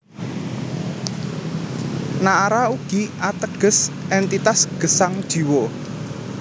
Naara ugi ateges éntitas gesang Jiwa